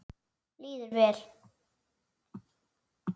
Líður vel.